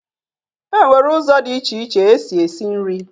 E nwere ụzọ dị iche iche e si esi nri.